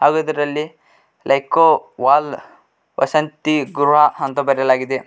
ಹಾಗು ಇದರಲ್ಲಿ ಲೇಕೊ ವಾಲ್ ವಸಂತಿ ಗೃಹ ಅಂತ ಬರೆಯಲಾಗಿದೆ.